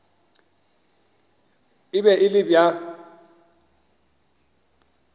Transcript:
e be e le bja